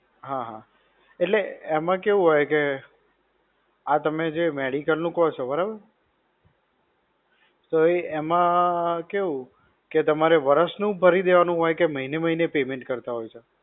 હા હા. એટલે એમાં કેવું હોય કે, આ તમે જે medical નું કોકહો છો બરાબર, તો એ એમાં કેવું, કે તમારે વર્ષ નું જ ભરી દેવાનું હોય કે મહિને મહિને payment કરતા હોવ છો?